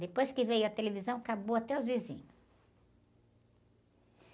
Depois que veio a televisão, acabou até os vizinhos.